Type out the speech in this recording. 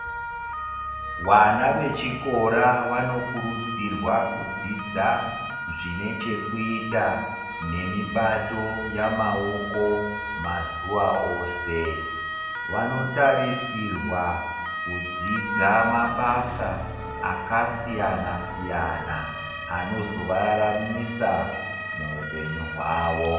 Vana vechikora vanokurudzirwa kudzidza zvine chekuita nemishando yemaoko mazuwa ose. Vanotarisirwa kudzidza mabasa akasiyana siyana anozovararamisa muupenyu hwavo.